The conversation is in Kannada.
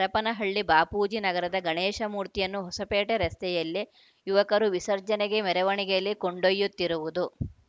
ಹರಪನಹಳ್ಳಿ ಬಾಪೂಜಿ ನಗರದ ಗಣೇಶಮೂರ್ತಿಯನ್ನು ಹೊಸಪೇಟೆ ರಸ್ತೆಯಲ್ಲಿ ಯುವಕರು ವಿಸರ್ಜನೆಗೆ ಮೆರವಣಿಗೆಯಲ್ಲಿ ಕೊಂಡೊಯ್ಯುತ್ತಿರುವುದು